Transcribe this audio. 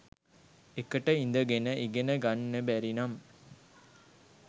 එකට ඉඳගෙන ඉගෙන ගන්න බැරිනම්